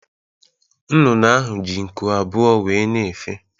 Nnụnụ ahụ ji nku abụọ wéé na-efe.